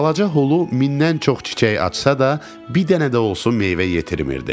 Balaca hulu mindən çox çiçək açsa da, bir dənə də olsun meyvə yetirmirdi.